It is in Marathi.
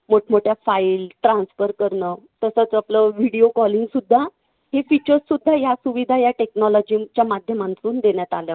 मोठमोठ्या file transfer करणं. तसंच आपलं video calling सुद्धा हे features सुद्धा या सुविधा या technology च्या माध्यमातून देण्यात आल्या